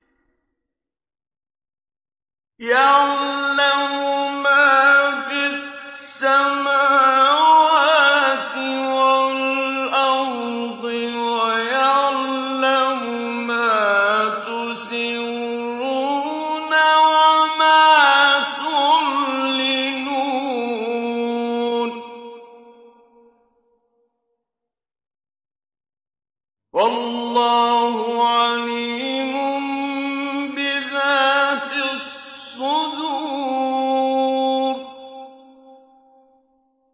يَعْلَمُ مَا فِي السَّمَاوَاتِ وَالْأَرْضِ وَيَعْلَمُ مَا تُسِرُّونَ وَمَا تُعْلِنُونَ ۚ وَاللَّهُ عَلِيمٌ بِذَاتِ الصُّدُورِ